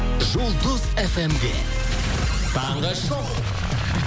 жұлдыз фм де таңғы шоу